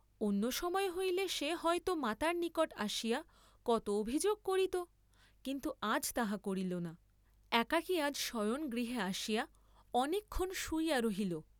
অন্য সময় হইলে সে হয় তো মাতার নিকট আসিয়া কত অভিযোগ করিত, কিন্তু আজ তাহা করিল না, একাকী আজ শয়নগৃহে আসিয়া অনেকক্ষণ শুইয়া রহিল।